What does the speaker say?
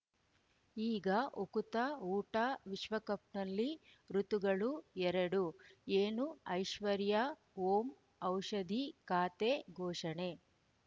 ಈಗ ಉಕುತ ಊಟ ವಿಶ್ವಕಪ್‌ನಲ್ಲಿ ಋತುಗಳು ಎರಡು ಏನು ಐಶ್ವರ್ಯಾ ಓಂ ಔಷಧಿ ಖಾತೆ ಘೋಷಣೆ